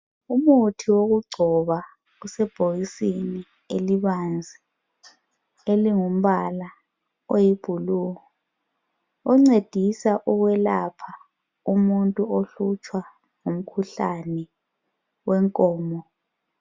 Umuthi wokugcoba usebhokisini elibanzi elingumbala oluhlaza okwesibhakabhaka incedisa ukwelapha umuntu ohlutshwa ngumkhuhlane wenkomo